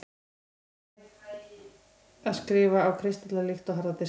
er hægt að „skrifa“ á kristalla líkt og harða diska